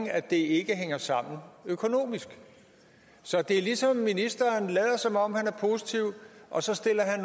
at det ikke hænger sammen økonomisk så det er ligesom ministeren lader som om han er positiv og så stiller han